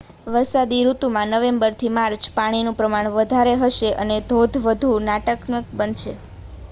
વરસાદી ઋતુમાં નવેમ્બરથી માર્ચ પાણીનું પ્રમાણ વધારે હશે અને ધોધ વધુ નાટ્યાત્મક બનશે